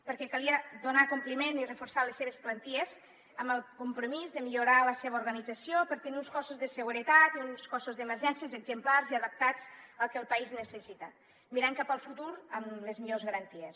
perquè calia donar compliment i reforçar les seves plantilles amb el compromís de millorar ne l’organització per tenir uns cossos de seguretat i uns cossos d’emergències exemplars i adaptats al que el país necessita mirant cap al futur amb les millors garanties